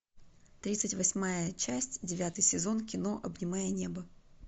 тридцать восьмая часть девятый сезон кино обнимая небо